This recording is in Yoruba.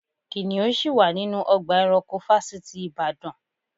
Kìnìún ṣì wà nínú ọgbà eranko fásitì ìbàdàn.